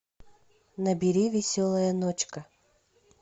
набери веселая ночка